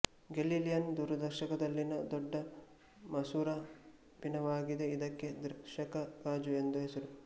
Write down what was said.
Galilean ದೂರದರ್ಶಕದಲ್ಲಿನ ದೊಡ್ಡ ಮಸೂರ ಪೀನವಾಗಿದೆ ಇದಕ್ಕೆ ದೃಶ್ಯಕ ಗಾಜು ಎಂದು ಹೆಸರು